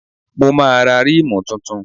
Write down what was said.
Mo máa ra rímù tuntun.